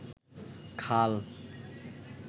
খাল